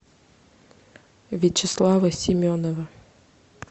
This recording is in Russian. вячеслава семенова